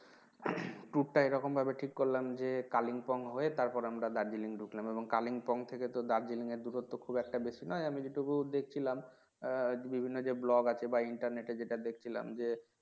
উম tour টা এরকম ভাবে ঠিক করলাম যে Kalimpong হয়ে তারপরে আমরা Darjeeling ঢুকলাম এবং Kalimpong থেকে তো Darjeeling এর দূরত্ব খুব একটা বেশি নয় আমি যে টুকু দেখছিলাম বিভিন্ন যে ব্লগ আছে বা internet এ যেটা দেখছিলাম যে